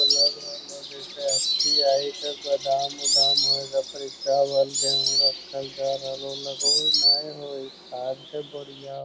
इ तो लग रहले होअ जैसे गोदाम उदाम हेय अई जा पर इ चावल गेहूँ रखल जा रहलो लगे होअ ने होअ इ खाद के बोरिया --